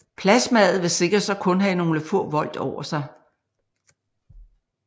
Plasmaet vil sikkert så kun have nogle få volt over sig